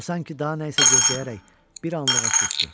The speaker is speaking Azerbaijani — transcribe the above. O sanki daha nə isə gözləyərək bir anlığa susdu.